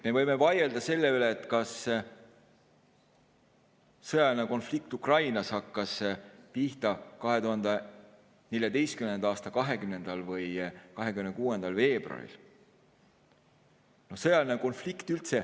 Me võime vaielda selle üle, kas sõjaline konflikt Ukrainas hakkas pihta 2014. aasta 20. või 26. veebruaril.